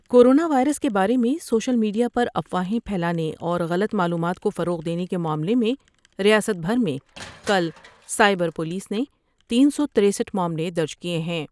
Corona virus کے بارے میں سوشل میڈ یا پر افواہیں پھیلانے اور غلط معلومات کو فروغ دینے کے معاملے میں ریاست بھر میں کل سائبر پولس نے تین سو ترسٹھ معاملے درج کئے ہیں۔